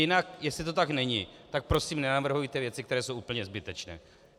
Jinak, jestli to tak není, tak prosím, nenavrhujte věci, které jsou úplně zbytečné.